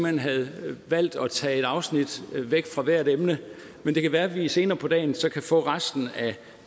hen havde valgt at tage et afsnit væk fra hvert emne men det kan være at vi senere på dagen så kan få resten af